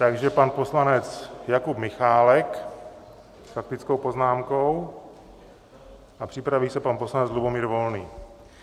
Takže pan poslanec Jakub Michálek s faktickou poznámkou a připraví se pan poslanec Lubomír Volný.